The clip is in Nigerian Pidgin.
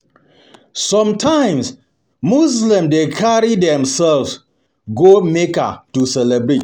Sometimes Muslims dey carry their carry their self go Mecca go celebrate